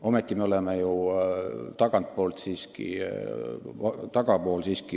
Ometi me oleme oma ostuvõimelt ju tagapool.